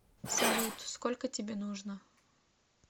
салют сколько тебе нужно